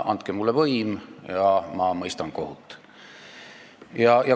Andke mulle võim ja ma mõistan kohut!